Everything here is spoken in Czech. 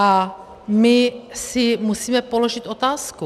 A my si musíme položit otázku.